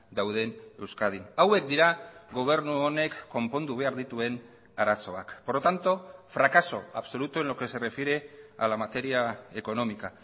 dauden euskadin hauek dira gobernu honek konpondu behar dituen arazoak por lo tanto fracaso absoluto en lo que se refiere a la materia económica